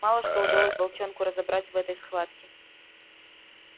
мало что удалось волчонку разобрать в этой схватке